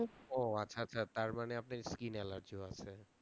ও আচ্ছা আচ্ছা তারমানে আপনার skin allergy ও আছে